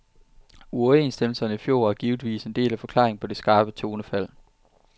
Uoverenstemmelserne i fjor er givetvis en del af forklaringen på det skarpe tonefald.